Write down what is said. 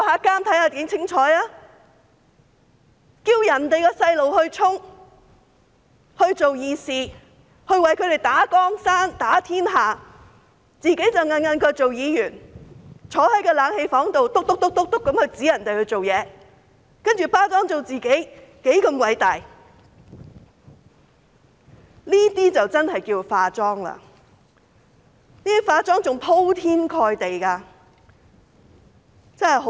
叫別人的孩子去衝、去做"義士"，為他們打江山、打天下，自己卻舒舒服服當議員，在冷氣房內發號司令，然後把自己包裝成多麼偉大，這些才是真的"化妝"，是鋪天蓋地的"化妝"。